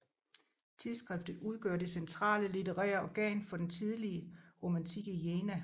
Tidsskriftet udgør det centrale litterære organ for den tidlige romantik i Jena